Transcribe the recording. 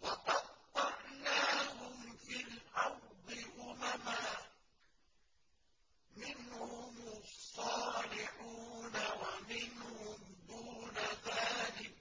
وَقَطَّعْنَاهُمْ فِي الْأَرْضِ أُمَمًا ۖ مِّنْهُمُ الصَّالِحُونَ وَمِنْهُمْ دُونَ ذَٰلِكَ ۖ